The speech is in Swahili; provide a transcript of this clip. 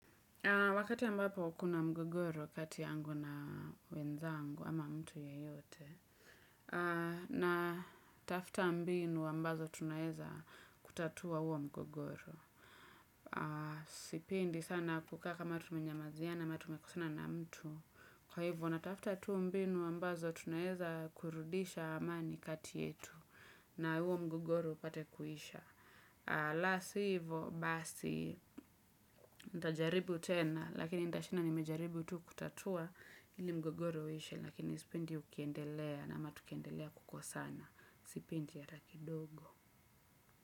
Wakati ambapo kuna mgogoro kati yangu na wenzangu ama mtu yeyote. Natafuta mbinu ambazo tunaeza kutatua huo mgogoro. Sipendi sana kukaa kama tumenyamaziana ama tumekosana na mtu. Kwa hivyo natafuta tu mbinu ambazo tunaeza kurudisha amani kati yetu. Na huo mgogoro upate kuisha. La si hivo, basi nitajaribu tena lakini nitashinda nimejaribu tu kutatua ile mgogoro uishe lakini sipendi ukiendelea ama tukiendelea kukosana, sipendi hata kidogo.